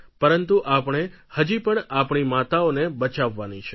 પરંતુ આપણે હજી પણ આપણી માતાઓને બચાવવાની છે